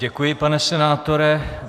Děkuji, pane senátore.